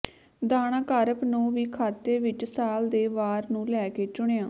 ਦਾਣਾ ਕਾਰਪ ਨੂੰ ਵੀ ਖਾਤੇ ਵਿੱਚ ਸਾਲ ਦੇ ਵਾਰ ਨੂੰ ਲੈ ਕੇ ਚੁਣਿਆ